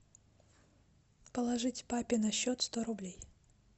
положить папе на счет сто рублей